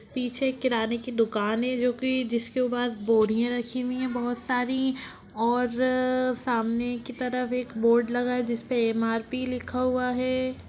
पीछे किराने की दुकान है जो की जिसके पास बोरियाँ रखी हुई हैं बहुत सारी और अ सामने की तरफ एक बोर्ड लगा है जिसपे एम.आर.पी. लिखा हुआ है।